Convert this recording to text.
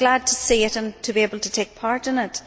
I am glad to see it and to be able to take part in it.